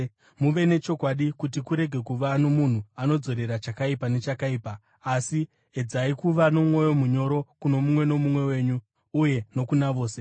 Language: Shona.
Muve nechokwadi kuti kurege kuva nomunhu anodzorera chakaipa nechakaipa, asi edzai kuva nomwoyo munyoro kuno mumwe nomumwe wenyu uye nokuna vose.